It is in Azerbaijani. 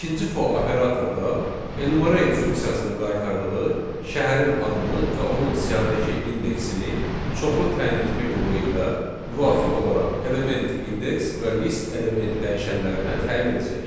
İkinci for operatorda enumerate funksiyasının qaytardığı şəhərin adını və onun siyahıdakı indeksini çoxlu təyin etmə yolu ilə müvafiq olaraq element indeks və list element dəyişənlərinə təyin edəcək.